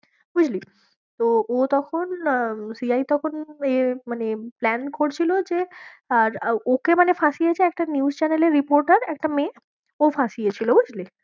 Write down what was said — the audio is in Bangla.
বুঝলি? তো ও তখন আহ CI তখন ইয়ে মানে plan করছিলো যে আর ওকে মানে ফাঁসিয়েছে একটা news channel এর reporter একটা মেয়ে ও ফাঁসিয়েছিলো বুঝলি?